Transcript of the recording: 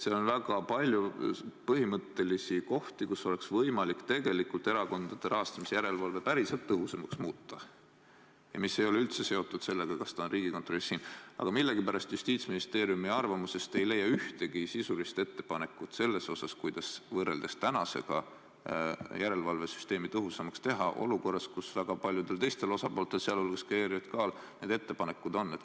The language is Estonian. Seal on väga palju põhimõttelisi kohti, kus oleks võimalik erakondade rahastamise järelevalve päriselt tõhusamaks muuta, mis ei ole üldse seotud sellega, kas ta on Riigikontrollis või siin, aga millegipärast Justiitsministeeriumi arvamusest ei leia ühtegi sisulist ettepanekut selle kohta, kuidas võrreldes praegusega järelevalvesüsteemi tõhusamaks teha, olukorras, kus väga paljudel teistel osapooltel, sh ERJK-l, need ettepanekud on.